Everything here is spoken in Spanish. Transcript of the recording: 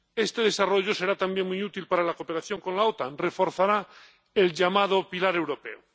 Este desarrollo será también muy útil para la cooperación con la OTAN y reforzará el llamado pilar europeo.